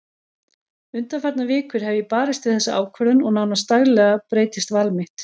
Undanfarnar vikur hef ég barist við þessa ákvörðun og nánast daglega breytist val mitt.